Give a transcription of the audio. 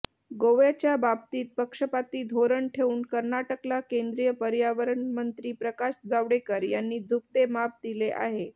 गोव्याच्या बाबतीत पक्षपाती धोरण ठेऊन कर्नाटकला केंद्रीय पर्यावरणमंत्री प्रकाश जावडेकर यांनी झुकते माप दिले आहे